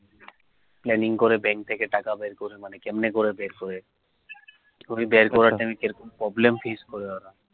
planning করে bank থেকে টাকা বের করে, মানে কেমনি করে বের করে problem face করে ওরা